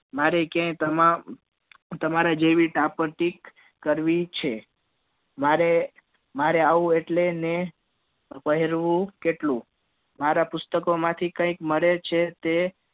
મારે ક્યાંય તમે તમારા જેવી દામપટી કરવી છે મારે મારે આવું એટલે ને પહેરવું કેટલું મારા પુસ્તકો માંથી કઈ મળે છે તે